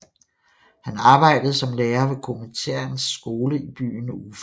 Han arbejdede som lærer ved Kominterns skole i byen Ufa